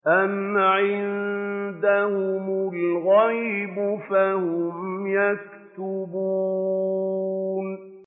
أَمْ عِندَهُمُ الْغَيْبُ فَهُمْ يَكْتُبُونَ